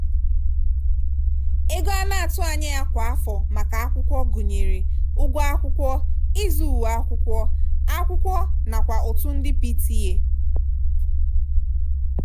ego a na-atụ anya kwa afọ maka ụlọakwụkwọ gụnyere ụgwọ akwụkwọ ịzụ uwe akwụkwọ akwụkwọ nakwa ụtụ ndị pta.